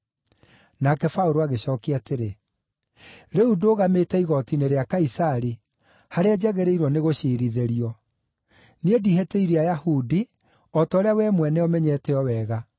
Nake Paũlũ agĩcookia atĩrĩ, “Rĩu ndũgamĩte igooti-inĩ rĩa Kaisari, harĩa njagĩrĩirwo nĩ gũciirithĩrio. Niĩ ndihĩtĩirie Ayahudi, o ta ũrĩa wee mwene ũmenyete o wega.